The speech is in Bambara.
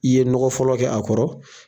I ye nɔgɔ fɔlɔ kɛ a kɔrɔ.